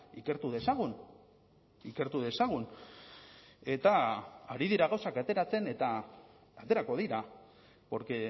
ikertu dezagun ikertu dezagun eta ari dira gauzak ateratzen eta aterako dira porque